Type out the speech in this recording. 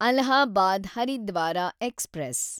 Allahabad Haridwar express